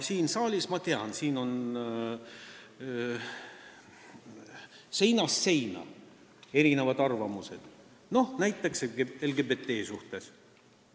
Siin saalis, ma tean, on arvamusi seinast seina, näiteks LGBT suhtes.